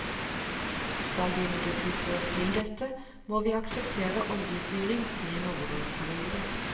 Skal vi imidlertid få til dette, må vi akseptere oljefyring i en overgangsperiode.